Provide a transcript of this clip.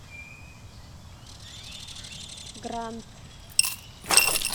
гранд